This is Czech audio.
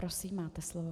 Prosím, máte slovo.